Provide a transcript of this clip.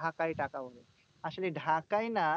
ঢাকায় টাকা ওরে। আসলে ঢাকাই না